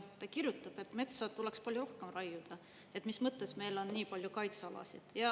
Ta kirjutab, et metsa tuleks palju rohkem raiuda, et mis mõttes meil on nii palju kaitsealasid.